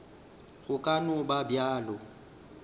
go ka no ba bjalo